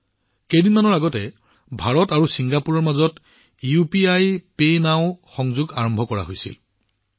মাত্ৰ কেইদিনমান আগতে ভাৰত আৰু ছিংগাপুৰৰ মাজত ইউপিআইপে নাও লিংক মুকলি কৰা হৈছে